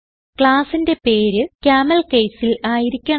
Classന്റെ പേര് CamelCaseൽ ആയിരിക്കണം